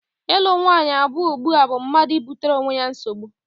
Ịlụ nwaanyị abụọ ugbua bụ mmadụ ibutere onwe ya nsogbu.